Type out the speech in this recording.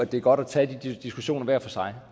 det er godt at tage de diskussioner hver for sig